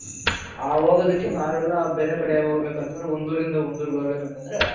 ಆ ಹೋಗೋದಕ್ಕೆ ನಾವೆಲ್ಲಾ ಬೇರೆ ಕಡೆ ಹೋಗ್ಬೇಕಂದ್ರೆ ಒಂದೂರಿಂದ ಒಂದೂರಿಗೆ ಹೋಗ್ಬೇಕು ಅಂತಂದ್ರೆ